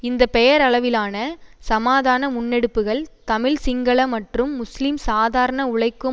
இந்த பெயரளவிலான சமாதான முன்னெடுப்புகள் தமிழ் சிங்கள மற்றும் முஸ்லிம் சாதாரண உழைக்கும்